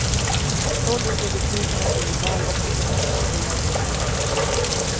Då ligger besluten om nyval och ekonomiska program hos dem.